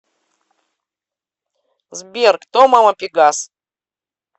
сбер кто мама пегас